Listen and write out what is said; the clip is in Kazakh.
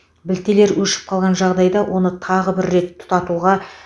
білтелер өшіп қалған жағдайда оны тағы бір рет тұтатуға